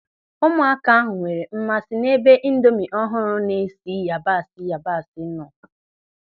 Ụmụaka ahụ nwere mmasị n'ebe indomi ọhụrụ na-esi yabasị yabasị nọ.